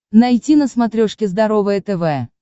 найти на смотрешке здоровое тв